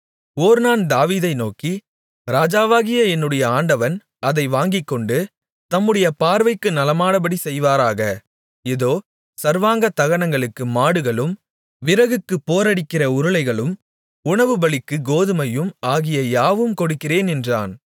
ஒர்னான் தாவீதை நோக்கி ராஜாவாகிய என்னுடைய ஆண்டவன் அதை வாங்கிக் கொண்டு தம்முடைய பார்வைக்கு நலமானபடி செய்வாராக இதோ சர்வாங்க தகனங்களுக்கு மாடுகளும் விறகுக்குப் போரடிக்கிற உருளைகளும் உணவுபலிக்குக் கோதுமையும் ஆகிய யாவையும் கொடுக்கிறேன் என்றான்